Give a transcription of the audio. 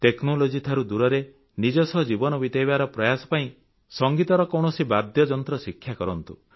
technology ଠାରୁ ଦୂରରେ ନିଜ ସହ ଜୀବନ ବିତେଇବାର ପ୍ରୟାସ ପାଇଁ ସଂଗୀତର କୌଣସି ବାଦ୍ୟଯନ୍ତ୍ର ଶିକ୍ଷା କରନ୍ତୁ